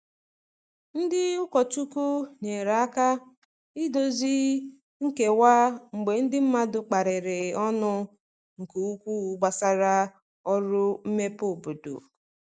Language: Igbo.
Ndị ụkọchukwu nyere aka idozi nkewa mgbe ndi mmadụ kparịrị ọnụ nke ukwuu gbasara ọrụ mmepe obodo.